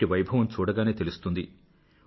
వీటి వైభవము చూడగానే తెలుస్తుంది